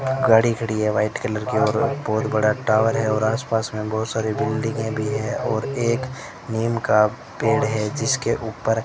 गाड़ी खड़ी है वाइट कलर की और बहोत बड़ा टावर है और आसपास में बहोत सारी बिल्डिंगे भी हैं और एक नीम का पेड़ है जिसके ऊपर--